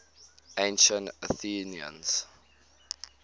ancient athenians